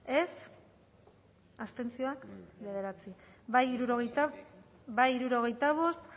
dezakegu bozketaren emaitza onako izan da hirurogeita hamalau eman dugu bozka hirurogeita bost